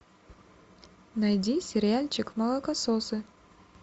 найди сериальчик молокососы